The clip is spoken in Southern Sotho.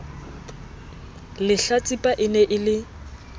lehlatsipa e ne e le